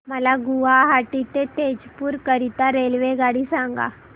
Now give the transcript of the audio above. मला गुवाहाटी ते तेजपुर करीता रेल्वेगाडी सांगा